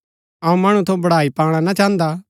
अऊँ मणु थऊँ बड़ाई पाणा ना चाहन्दा